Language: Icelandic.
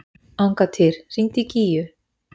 Angantýr, hringdu í Gígju.